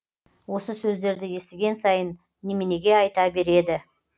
осы сөздерді естіген сайын неменеге айта береді